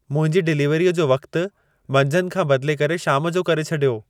मुंहिंजी डिलीवरीअ जो वक्त मंझंदि खां बदिले करे शाम जो करे छॾियो।